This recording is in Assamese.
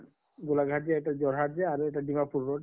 গোলাঘাট যাওঁতে যোৰহাট যে আৰু এটা ডিমাপুৰ road